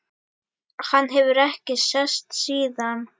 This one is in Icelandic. Hann hefur ekki sést síðan!